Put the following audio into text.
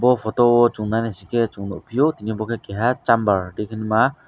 aw photo o chung nai nai si ke Chung nugfio je omo ke keha chamber tike ma.